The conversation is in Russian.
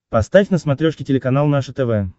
поставь на смотрешке телеканал наше тв